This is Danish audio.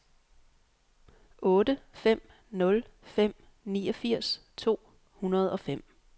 otte fem nul fem niogfirs to hundrede og fem